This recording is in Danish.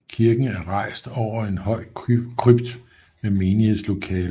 Kirken er rejst over en høj krypt med menighedslokaler og ligkapel